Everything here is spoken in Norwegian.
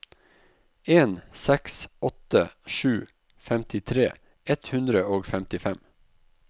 en seks åtte sju femtitre ett hundre og femtifem